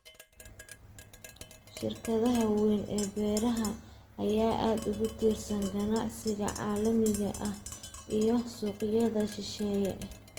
Shirkadaha waaweyn ee beeraha ayaa aad ugu tiirsan ganacsiga caalamiga ah iyo suuqyada shisheeye.